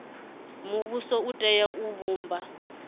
muvhuso u tea u vhumba